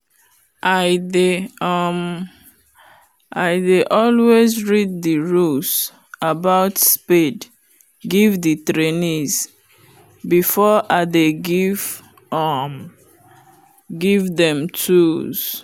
i dey um always read the rules about spade give the trainees before i dey give um them tools.